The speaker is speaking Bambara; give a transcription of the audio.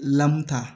Lamu ta